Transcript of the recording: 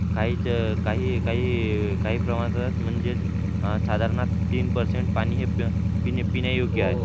काही काही काही प्रमाणात म्हणजेच साधारणतः तीन परसेंट पाणी हे पिण्यायोग्य आहे.